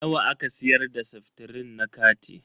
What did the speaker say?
Nawa aka siyar da seftrin na kati?